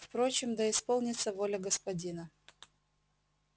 впрочем да исполнится воля господина